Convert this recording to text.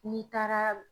N'i taara